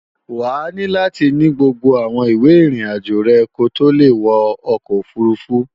Wàá ní láti ní gbogbo àwọn ìwé ìrìnàjò rẹ̀ ko tó le wọ ọkọ̀ òfurufú